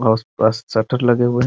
आस पास शटर लगे हुए है ।